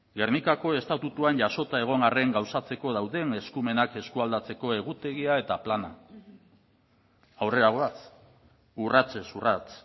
gernikako estatutuan jasota egon arren gauzatzeko dauden eskumenak eskualdatzeko egutegia eta plana aurrera goaz urratsez urrats